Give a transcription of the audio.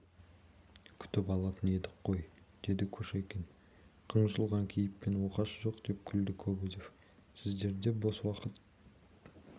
күтіп алатын едік қой деді кушекин қынжылған кейіппен оқасы жоқ деп күлді кобозев сіздерде бос уақыт